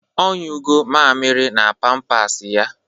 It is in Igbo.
Ọ nyụgọ mamịrị na pampasị ya.